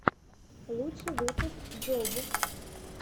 лучший выпуск джов